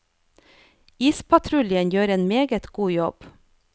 Ispatruljen gjør en meget god jobb.